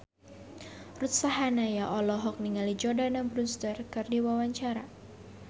Ruth Sahanaya olohok ningali Jordana Brewster keur diwawancara